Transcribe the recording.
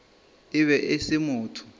e be e se motho